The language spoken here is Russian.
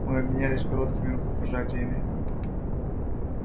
мы обменялись короткими рукопожатиями